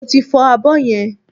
Mo ti fọ abọ́ yẹn